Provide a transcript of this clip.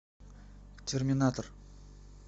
терминатор